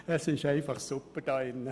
Es ist einfach super hier drin!